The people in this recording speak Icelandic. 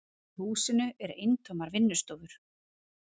Í húsinu eru eintómar vinnustofur.